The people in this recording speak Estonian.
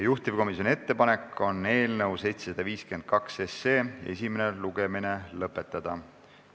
Juhtivkomisjoni ettepanek on eelnõu 752 esimene lugemine lõpetada.